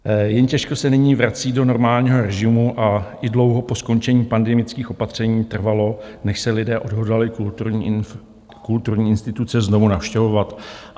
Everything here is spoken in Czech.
Jen těžko se nyní vrací do normálního režimu, a i dlouho po skončení pandemických opatření trvalo, než se lidé odhodlali kulturní instituce znovu navštěvovat.